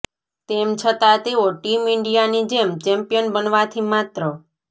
તેમ છતાં તેઓ ટીમ ઇન્ડિયાની જેમ ચેમ્પિયન બનવાથી માત્ર